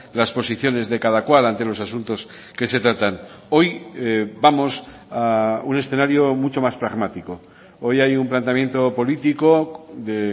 las posiciones de cada cual ante los asuntos que se tratan hoy vamos a un escenario mucho más pragmático hoy hay un planteamiento político de